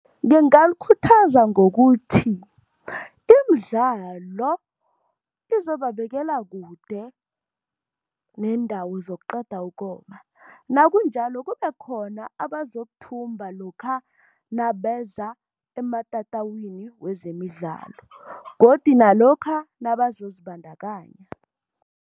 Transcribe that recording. Ngingalikhuthaza ngokuthi, imidlalo izobabekela kude neendawo zokuqeda ukoma, nakunjalo kube khona abazokuthumba lokha nabeza ematatawini wezemidlalo, godu nalokha nabazozibandakanya.